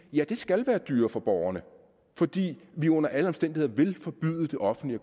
ja det skal være dyrere for borgerne fordi vi under alle omstændigheder vil forbyde det offentlige